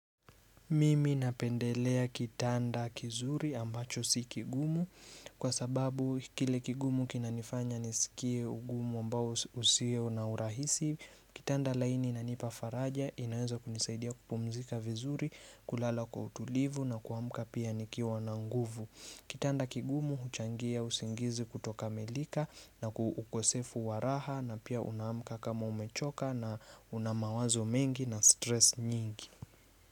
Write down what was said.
Mimi napendelea kitanda kizuri ambacho si kigumu. Kwa sababu kile kigumu kina nifanya nisikie ugumu mbao usio na urahisi. Kitanda laini inanipa faraja inaweza kunisaidia kupumzika vizuri, kulala kwa utulivu na kuamka pia nikiwa na nguvu. Kitanda kigumu huchangia usingizi kuto kamilika na ukosefu wa raha, na pia unaamka kama umechoka na unamawazo mengi na stress nyingi.